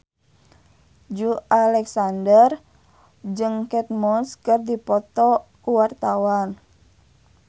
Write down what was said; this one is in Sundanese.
Joey Alexander jeung Kate Moss keur dipoto ku wartawan